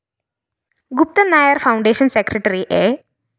Guptan Nair‍ foundation secretary A